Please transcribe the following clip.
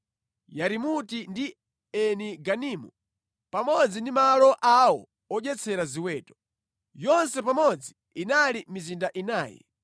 Yarimuti ndi Eni Ganimu, pamodzi ndi malo awo odyetsera ziweto. Yonse pamodzi inali mizinda inayi.